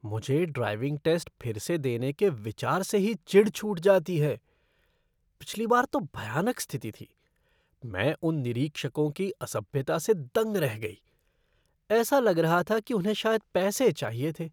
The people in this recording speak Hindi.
मुझे ड्राइविंग टेस्ट फिर से देने के विचार से ही चिढ़ छूट जाती है। पिछली बार तो भयानक स्थिति थी। मैं उन निरीक्षकों की असभ्यता से दंग रह गई। ऐसा लग रहा था कि उन्हें शायद पैसे चाहिए थे।